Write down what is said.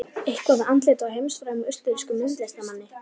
eitthvað við andlitið á heimsfrægum, austurrískum myndlistarmanni